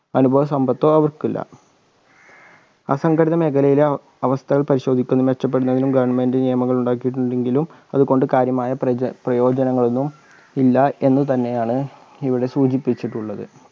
അനുഭവ സമ്പത്തോ അവർക്ക് ഇല്ല അസംഘടിത മേഖലയിലെ അ അവസ്ഥകൾ പരിശോദിക്കുന്ന മെച്ചപ്പെടുന്നതിനും goverment നിയമങ്ങൾ ഉണ്ടാക്കിയിട്ടുണ്ടെങ്കിലും അത് കൊണ്ട് കാര്യമായ പ്രജ പ്രയോജനങ്ങൾ ഒന്നും ഇല്ലാ എന്ന് തന്നെയാണ് ഇവിടെ സൂചിപ്പിച്ചിട്ടുള്ളത്